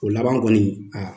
O laban kɔni